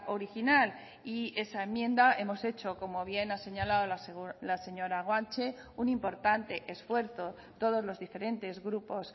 original y esa enmienda hemos hecho como bien ha señalado la señora guanche un importante esfuerzo todos los diferentes grupos